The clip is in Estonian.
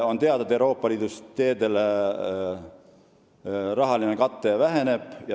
On teada, et Euroopa Liidu rahaline kate teedele väheneb.